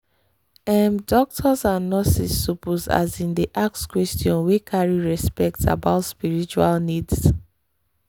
ehh doctors and nurses suppose asin dey ask questions wey carry respect about spiritual needs.